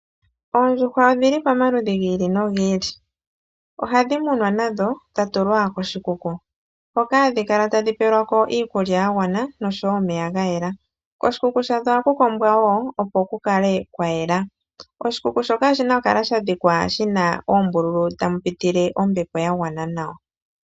Oondjuhwa odhi li pamaludhi gi ili nogi ili. Ohadhi munwa nadho dha tulwa koshikuku hoka hadhi kala tadhi pelwa ko iikulya ya gwana noshowo nomeya ga yela. Koshikuku sha dho ohaku kombwa wo opo ku kale kwa yela. Oshikuku shoka oshina oku kala sha dhikwa shina oombululu tamu pitile ombepo ya gwana nawa.